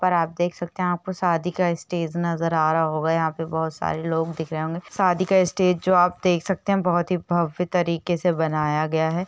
पर आप देख सकते है यह पर शादी का स्टेज नजर आ रहा होगा। यहाँ पर बहोत सारे लोग दिख रहे होंगे। शादी का स्टेज जो आप देख सकते है बहुत है भव्य तरीके से बनाय गया है।